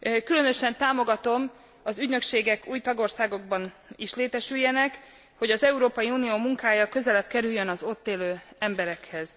Különösen támogatom, hogy ügynökségek új tagországokban is létesüljenek, hogy az Európai Unió munkája közelebb kerüljön az ott élő emberekhez.